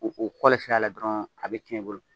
O o kɔlɛ sira la dɔrɔn, a bɛ cɛn i bolo.